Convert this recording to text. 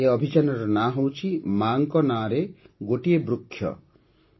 ଏହି ଅଭିଯାନର ନାମ ହେଉଛି - "ମା'ଙ୍କ ନାମରେ ଗୋଟିଏ ବୃକ୍ଷ"